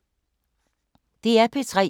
DR P3